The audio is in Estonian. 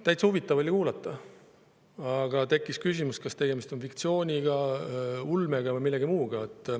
Täitsa huvitav oli kuulata, aga tekkis küsimus, kas tegemist on fiktsiooni, ulme või millegi muuga.